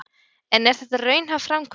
En er þetta raunhæf framkvæmd?